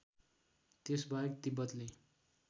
त्यसबाहेक तिब्बतले